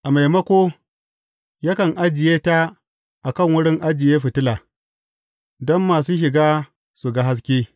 A maimako, yakan ajiye ta a kan wurin ajiye fitila, don masu shiga su ga haske.